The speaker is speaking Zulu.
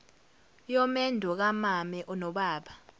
yomendo kamame nobaba